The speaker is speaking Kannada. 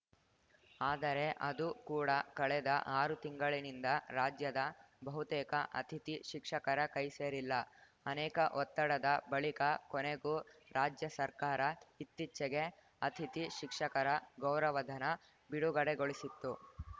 ಆದರೆ ಅದು ಕೂಡ ಕಳೆದ ಆರು ತಿಂಗಳಿನಿಂದ ರಾಜ್ಯದ ಬಹುತೇಕ ಅತಿಥಿ ಶಿಕ್ಷಕರ ಕೈಸೇರಿಲ್ಲ ಅನೇಕ ಒತ್ತಡದ ಬಳಿಕ ಕೊನೆಗೂ ರಾಜ್ಯ ಸರ್ಕಾರ ಇತ್ತೀಚೆಗೆ ಅತಿಥಿ ಶಿಕ್ಷಕರ ಗೌರವಧನ ಬಿಡುಗಡೆಗೊಳಿಸಿತ್ತು